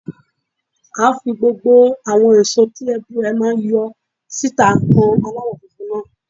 À ń́ fi gbogbo àwọn èso tí èbù rẹ̀ máa ń yọ síta han aláwọ̀ funfun náà.